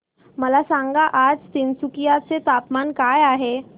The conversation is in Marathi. मला सांगा आज तिनसुकिया चे तापमान काय आहे